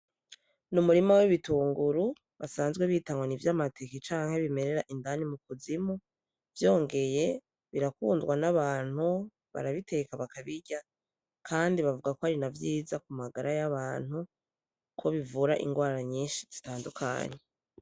Nu murima w'ibitunguru basanzwe bita ngo nivya mateke canke bimerera indani mu kuzimu vyongeye birakundwa n'abantu barabiteka bakabirya kandi bavuga ko ari na vyiza ku magara y'abantu ko bivura ingwara nyishi zitandukanye.